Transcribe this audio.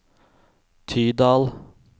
Tydal